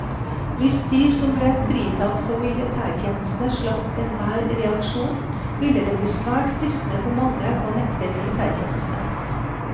Hvis de som ble fritatt for militærtjeneste slapp enhver reaksjon, ville det bli svært fristende for mange å nekte militætjeneste.